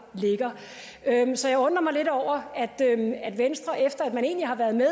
ligger så jeg undrer mig lidt over at venstre efter at man egentlig har været med